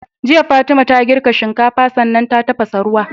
Jiya fatima ta girka shinkafa sannan ta tafasa ruwa